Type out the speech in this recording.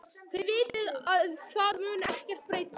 Þið vitið að það mun ekkert breytast.